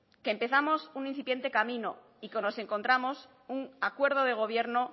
que empezamos un incipiente camino y que nos encontramos un acuerdo de gobierno